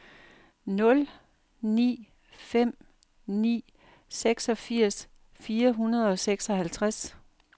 nul ni fem ni seksogfirs fire hundrede og seksoghalvtreds